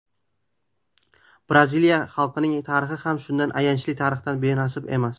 Braziliya xalqining tarixi ham shunday ayanchli tarixdan benasib emas.